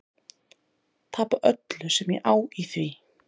Tapa öllu sem ég á í því.